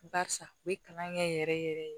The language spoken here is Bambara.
Barisa u ye kalan kɛ yɛrɛ yɛrɛ yɛrɛ